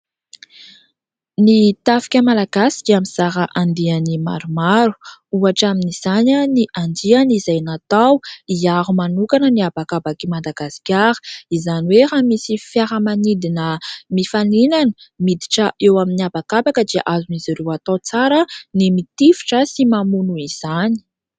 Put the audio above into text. Ny tafika malagasy dia mizara andiany maromaro, ohatra amin'izany ny andiany izay natao hiaro manokana ny habakabak'i Mdagasikara. Izany hoe raha misy fiaramanidina mifaninana miditra eo amin'ny habakabaka dia azon'izy ireo atao tsara ny mitifitra sy mamono izany.